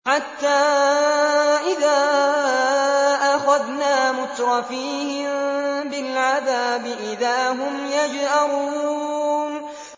حَتَّىٰ إِذَا أَخَذْنَا مُتْرَفِيهِم بِالْعَذَابِ إِذَا هُمْ يَجْأَرُونَ